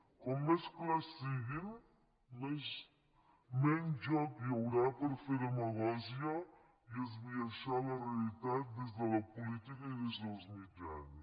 com més clars siguin menys joc hi haurà per fer demagògia i esbiaixar la realitat des de la política i des dels mitjans